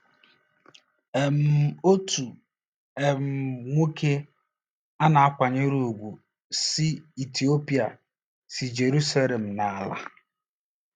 um OTU um NWOKE a na-akwanyere ùgwù si Itiopia si Jeruselem na-ala.